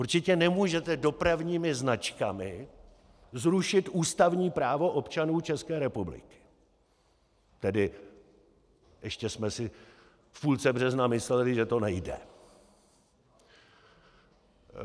Určitě nemůžete dopravními značkami zrušit ústavní právo občanů České republiky - tedy ještě jsme si v půlce března mysleli, že to nejde.